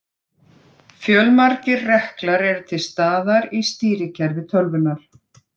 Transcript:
Fjölmargir reklar eru til staðar í stýrikerfi tölvunnar.